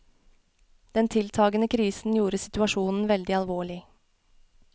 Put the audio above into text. Den tiltagende krisen gjorde situasjonen veldig alvorlig.